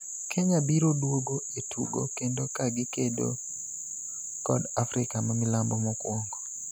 Kenya biro duogo e tugo kendo ka gikedo kod Africa mamilambo mokwongo.